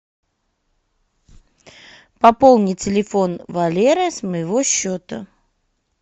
пополни телефон валеры с моего счета